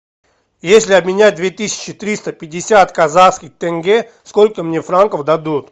если обменять две тысячи триста пятьдесят казахских тенге сколько мне франков дадут